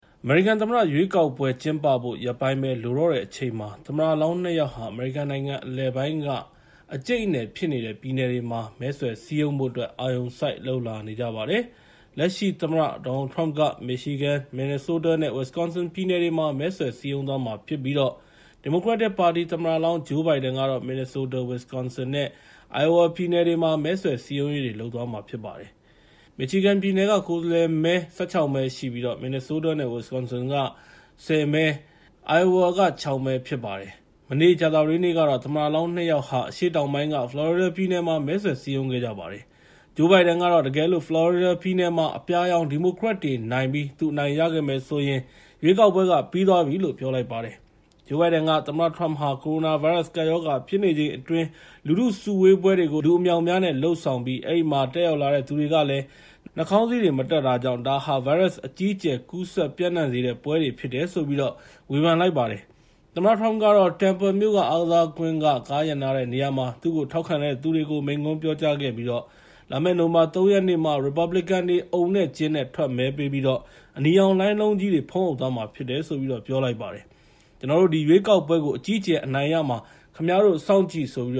အမေရိကန်သမ္မတရွေးကောက်ပွဲ ကျင်းပဖို့ ရက်ပိုင်းပဲ လိုတော့တဲ့အချိန်မှာ သမ္မတလောင်း နှစ် ယောက်ဟာ အမေရိကန်နိုင်ငံ အနောက်အလယ်ပိုင်းက အကြိတ်အနယ်ဖြစ်နေတဲ့ ပြည်နယ်တွေမှာ မဲဆွယ်စည်းရုံဖို့အတွက် အာရုံစိုက်လုပ်လာနေကြပါတယ်။ လက်ရှိသမ္မတ ဒေါ်နယ်လ်ထရမ့်က Michigan, Minnesota နဲ့ Wisconsin ပြည်နယ်တွေမှာ မဲဆွယ်စည်းရုံးသွားမှာဖြစ်ပြီး ဒီမိုကရက်တစ်သမ္မတလောင်း ဂျိုးဘိုင်ဒန်ကတော့ Minnesota, Winconsin နဲ့ Iowa ပြည်နယ်တွေမှာ မဲဆွယ်စည်းရုံးရေးတွေ လုပ်သွားမှာဖြစ်ပါတယ်။ Michigan ပြည်နယ်က ကိုယ်စားလှယ်မဲ ၁၆ မဲ ရှိပြီး Minnesota နဲ့ Wisconsin ပြည်နယ်တွေက ကိုယ်စားလှယ်မဲ ၁၀၊ Iowa က ၆ မဲ ဖြစ်ပါတယ်။ မနေ့ကြာသပတေးနေ့ကတော့ သမ္မတလောင်း နှစ် ယောက်ဟာ အရှေ့တောင်ပိုင်းက ဖလော်ရီဒါပြည်နယ်မှာ မဲဆွယ်စည်းရုံးခဲ့ကြပါတယ်။ ဂျိုးဘိုင်ဒန်ကတော့ တကယ်လို့ ဖလော်ရီဒါပြည်နယ်မှာသာ သူအနိုင်ရမယ်ဆိုရင် ရွေးကောက်ပွဲနိုင်ပြီပဲလို့ ပြောပါတယ်။ သမ္မတထရမ့်ဟာ ကိုရိုနာဗိုင်းရပ်စ် ကပ်ရောဂါဖြစ်နေချိန်အတွင်း လူထုစုဝေးပွဲတွေကို လူအမြောက်အများနဲ့ လုပ်ဆောင်ပြီး အဲဒီမှာ တက်ရောက်လာတဲ့သူတွေကလည်း နှာခေါင်စည်းတွေမတပ်ကြတဲ့အတွက် ဒါဟာ ဗိုင်းရပ်စ် အကြီးအကျယ်ကူးစက်ပျံ့နှံ့စေတဲ့ပွဲတွေ ဖြစ်တယ်လို့ ဂျိုးဘိုင်ဒန်က ဝေဖန်ုပါတယ်။ သမ္မတထရမ့်ကတော့ Tampa မြို့ အားကစားကွင်း ကားရပ်နားတဲ့နေရာမှာ သူ့ကို ထောက်ခံသူတွေကို မိန့်ခွန်းပြောကြားခဲ့ပြီး လာမယ့် နိုဝင်ဘာ ၃ ရက်နေ့မှာ ရီပတ်ဘလစ်ကန်တွေ အုံနဲ့ကျင်းနဲ့ ထွက်မဲပေးပြီးတော့ အနီရောင်လှိုင်းလုံးကြီးတွေ ဖုံးအုပ်သွားမှာဖြစ်တယ်လို့ပြောပါတယ်။ ကျနော်တို့ ဒီရွေးကောက်ပွဲကို အကြီးအကျယ်အနိုင်ရမှာ ခင်ဗျားတို့ စောင့်ကြည့်ဆိုပြီး